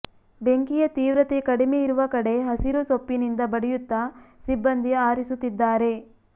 ಬೆಂಕಿಯ ತೀವ್ರತೆ ಕಡಿಮೆ ಇರುವ ಕಡೆ ಹಸಿರು ಸೊಪ್ಪಿನಿಂದ ಬಡಿಯುತ್ತ ಸಿಬ್ಬಂದಿ ಆರಿಸುತ್ತಿದ್ದಾರೆ